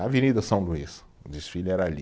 Na Avenida São Luís, o desfile era ali.